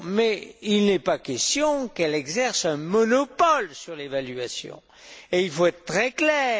Mais il n'est pas question qu'elle exerce un monopole sur l'évaluation, et il faut être très clair.